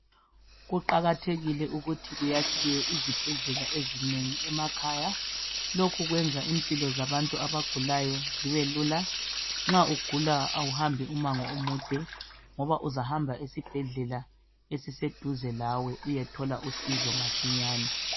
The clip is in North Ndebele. Kuqakathekile ukuthi kuyakhiwe izibhedlela ezinengi emakhaya lokhu kwenza impilo zabantu abagulayo zibelula, nxa ugula awuhambi umango omude, uzahamba esibhedlela esiseduzane lawe uyethola usizo masinya.